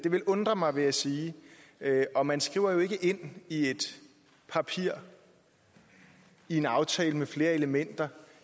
ville undre mig vil jeg sige og man skriver jo ikke ind i et papir i en aftale med flere elementer